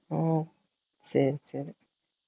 உம் silent சரி சரி silent